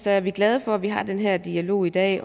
er vi glade for at vi har den her dialog i dag